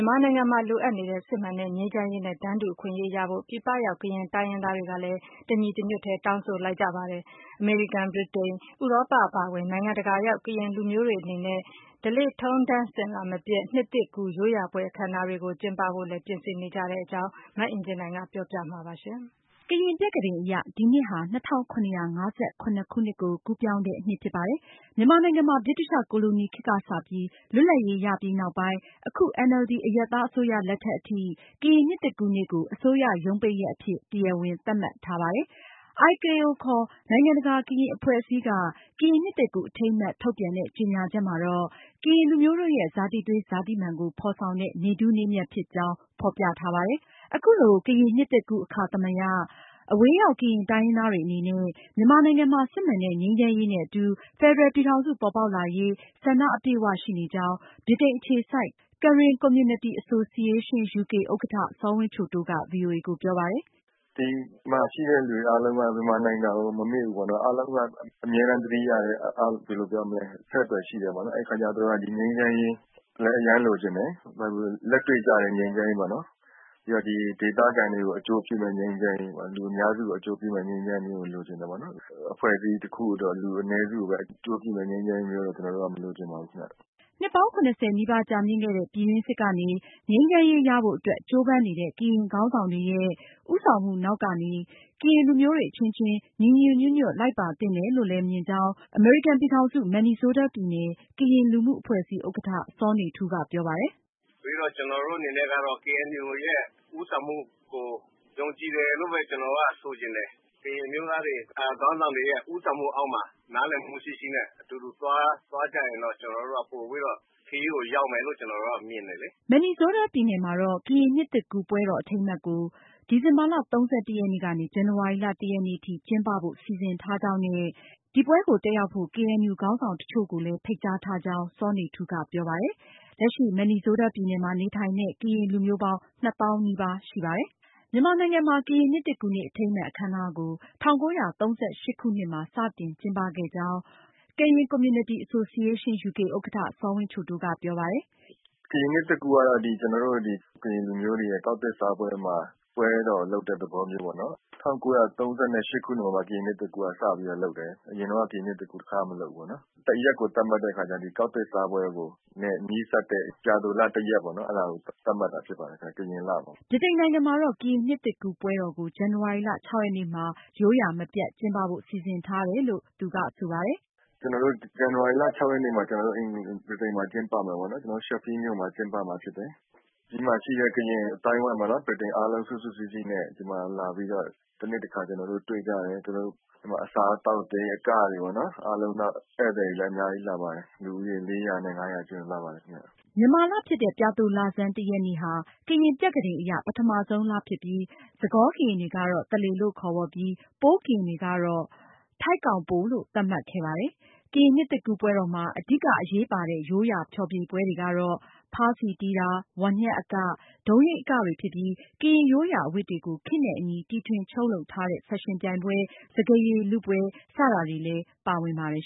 န်မာနိုင်ငံမှာ လိုအပ်နေတဲ့ စစ်မှန်တဲ့ ငြိမ်းချမ်းရေးနဲ့ တန်းတူအခွင့်အရေး ရရှိဖို့ပြည်ပရောက် ကရင်တိုင်းရင်းသားတွေ တညီတညွတ်တည်း တောင်းဆိုလိုက်ပါတယ်။ အမေရိကန်၊ ဗြိတိန်၊ ဥရောပ အပါအဝင် နိုင်ငံတကာရောက် ကရင်လူမျိုးတွေအနေနဲ့ ဓလေ့ထုံးထမ်းအစဉ်အလာမပျက် နှစ်သစ်ကူးရိုးရာပွဲအခမ်းအနားတွေ ကျင်းပဖို့ ပြင်ဆင်နေတဲ့အကြောင်း မအင်ကြင်းနိုင်က ဆက်ပြီးပြောပြမှာပါ။ ကရင်ပြက္ခဒိန်အရ ဒီနှစ်ဟာ ၂၇၅၇ ခုနှစ် ကိုကူးပြောင်းတဲ့နှစ်ဖြစ်ပါတယ်။ မြန်မာနိုင်ငံမှာ ဗြိတိသျှကိုလိုနီခေတ်ကစပြီး လွတ်လပ်ရေးရပြီးနောက်ပိုင်း အခု NLD အရပ်သားအစိုးရလက်ထက်အထိ ကရင်နှစ်သစ်ကူးနေ့ကို အစိုးရရုံးပိတ်ရက်အဖြစ် တရားဝင်သတ်မှတ်ထားတာပါ။ IKO နိုင်ငံတကာကရင်အဖွဲ့အစည်းက ကရင်နှစ်သစ်ကူးအထိမ်းအမှတ်ထုတ်ပြန်တဲ့ ကြေညာချက်မှာ ကရင်လူမျိုးတို့ရဲ့ ဇာတိသွေး၊ ဇာတိမာန်ကို ဖေါ်ဆောင်တဲ့ နေ့ထူးနေ့မြတ်ဖြစ်ကြောင်း ဖေါ်ပြထားပါတယ်။ အခုလိုကရင်နှစ်သစ်ကူးအခါသမယ အဝေးရောက် ကရင်တိုင်းရင်းသားတွေအနေနဲ့ မြန်မာနိုင်ငံမှာ စစ်မှန်တဲ့ ငြိမ်းချမ်းရေးနဲ့ အတူ ဖယ်ဒရယ်ပြည်ထောင်စု ပေါ်ပေါက်လာရေး ဆန္ဒ အပြည့်အဝရှိနေကြောင်း ဗြိတိန်အခြေစိုက် Karen Community Association UK ဥက္ကဌ စောဝင်းချိုတိုးက VOA ကို ပြောပါတယ်။ "ဒီမှာရှိတဲ့လူအားလုံးက မြန်မာနိုင်ငံကို မမေ့ဘူးပေါ့နော် ၊ အားလုံးက အမြဲတမ်းသတိရတယ်၊ အဆက်အသွယ်ရှိတယ်ပေါ့နော် အဲဒီအခါကျတော့ ဒီငြိမ်းချမ်းရေးလည်း အရမ်းလိုချင်တယ်။ လက်တွေ့ကျတဲ့ငြိမ်းချမ်းရေးပေါ့နော် ပြီးတော့ ဒီဒေသခံတွေကို အကျိုးပြုမယ့် ငြိမ်းချမ်းရေးပေါ့နော် လူအများစုကို အကျိုးပြုမယ့် ငြိမ်းချမ်းရေးကို လိုချင်တယ်။ အဖွဲ့အစည်းတခုအတွက် လူအနည်းစုကိုပဲ အကျိုးပြုမယ့် ငြိမ်းချမ်းရေးမျိုးကိုတော့ ကျနော်တို့မလိုချင်ပါဘူးခင်ဗျ။" နှစ်ပေါင်း ၇၀ နီးပါးကြာမြင့်ခဲ့တဲ့ ပြည်တွင်းစစ် ကနေ ငြိမ်းချမ်းရေးရဖို့ အတွက် ကြိုးပမ်းနေတဲ့ ကရင်ခေါင်းဆောင်တွေရဲ့ ဦးဆောင်မှုနောက်ကနေ ကရင်လူမျိုးတွေအချင်းချင်း ညီညီညွတ်ညွတ် လိုက်ပါသင့်တယ်လို့ အမေရိကန်ပြည်ထောင်စု Minnesota ပြည်နယ် ကရင်လူမှုအဖွဲ့အစည်း ဥက္ကဌ စောနေထူးက ပြောပါတယ်။ "ကျနော်တို့အနေနဲ့ကတော့ KNU ရဲ့ ဦးဆောင်မှုကို ယုံကြည်တယ်လို့ပဲ ကျနော်တို့ကဆိုချင်တယ်။ ကရင်အမျိုးသားတွေ ခေါင်းဆောင်တွေရဲ့ ဦးဆောင်မှုအောက်မှာ နားလည်မှုရှိရှိနဲ့ အတူတကွ သွားကြရင်တော့ ကျနော်တို့က ပိုပြီးတော့ ခရီးကိုရောက်မယ်လို့ ကျနော်တို့မြင်ပါတယ်။" Minnesota ပြည်နယ်မှာတော့ ကရင်နှစ်သစ်ကူးပွဲတော်အထိမ်းအမှတ်ကို ဒီဇင်ဘာလ ၃၁ ရက်နေ့ကနေ ဇန်နဝါရီလ ၁ ရက်နေ့ ထိ ကျင်းပဖို့ စီစဉ်ထားကြောင်း နဲ့ ဒီပွဲကို ကရင်ခေါင်းဆောင်တချို့ကိုလည်း ဖိတ်ကြားထားကြောင်း စောနေထူးက ပြောပါတယ်။Minnesota ပြည်နယ်မှာ နေထိုင်တဲ့ ကရင်လူမျိုး ပေါင်း ၂ သောင်းနီးပါးရှိပါတယ်။ မြန်မာနိုင်ငံမှာ ကရင်နှစ်သစ်ကူးနေ့အထိမ်းအမှတ်အခမ်းအနားကို ၁၉၃၈ခုနှစ်မှာ စတင်ကျင်းပခဲ့ကြောင်း Karen Community Association UK ဥက္ကဌ စောဝင်းချိုတိုးက ဆိုပါတယ်။ "ကရင်နှစ်သစ်ကူးကတော့ ကျနော်တို့ ကရင်လူမျိုးတွေရဲ့ ကောက်သစ်စားပွဲမှာ ပွဲတော်လုပ်တဲ့သဘောမျိုးပေါ့နော် ၁၉၃၈ ခုနှစ်မှာ ကရင်နှစ်သစ်ကူးစလုပ်တယ်။ အရင်တုန်းကတော့ ကရင်နှစ်သစ်ကူးတခါမှ မလုပ်ဖူးဘူးပေါ့နော်။ ရက်ကိုသတ်မှတ်တဲ့အခါကျတော့ ကောက်သစ်စားပွဲနဲ့ နီးစပ်တဲ့ ပြာသိုလ ၁ ရက်ပေါ့နော် အဲဒါကို သတ်မှတ်တာဖြစ်ပါတယ်ခင်ဗျ။ ကရင်လမှာပါ။ " ဗြိတိန်နိုင်ငံမှာတော့ ကရင်နှစ်သစ်ကူးပွဲတော်ကို ဇန်နဝါရီလ ရက်နေ့မှာ ရိုးရာမပျက်ကျင်းပဖို့ စီစဉ်ထားကြောင်း စောဝင်းချိုတိုးက ပြောပါတယ်။ "ကျနော်တို့ ဇန်နဝါရီလ ၆ ရက်နေ့မှာ ဗြိတိန်မှာကျင်းပမယ်ပေါ့နော် Sheffield မြို့မှာ ကျင်းပမှာဖြစ်တယ်။ ဒီမှာရှိတဲ့ ကရင်အသိုင်းအဝိုင်းပေါ့နော် စုစုစည်းစည်း နဲ့ ဒီမှာလာပြီးတော့ တနှစ်တခါ ကျနော်တို့ တွေ့ကြတယ်။ ဒီမှာ အစားအသောက်တွေ အကတွေပေါ့နော် နောက်ပြီး ဧည့်သည် တွေလည်းအများကြီးလာပါတယ်။ လူဦးရေ ၄၀၀ နဲ့ ၅၀၀ ကြားလာပါတယ်ခင်ဗျ။" မြန်မာလဖြစ်တဲ့ ပြာသိုလဆန်း ရက်နေ့ဟာ ကရင်ပြက္ခဒိန်အရ ပထမဆုံးလဖြစ်ပြီး စကောကရင်တွေက သလေ လို့ခေါ်ဝေါ်ပြီး ပိုးကရင်တွေကတော့ ထိုက်ကောင်ပို လို့သတ်မှတ်ခဲ့ပါတယ်။ ကရင်နှစ်သစ်ကူးပွဲတော်မှာ အဓိကအရေးပါတဲ့ ရိုးရာဖျော်ဖြေပွဲတွေကတော့ ဖါးစည်တီးတာ၊ ဝါးညှပ်အက၊ ဒုံးယိမ်းအကတွေဖြစ်ပြီး ကရင်ရိုးရာအဝတ်တွေကို ခေတ်နဲ့အညီတီထွင်ချုပ်လုပ်ထားတဲ့ဖက်ရှင်ပြိုင်ပွဲ၊ စကားရည်လုပွဲစတာတွေလည်း ပါဝင်ပါတယ်